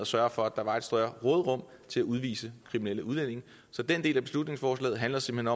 sørget for at der var større råderum til at udvise kriminelle udlændinge så den del af beslutningsforslaget handler simpelt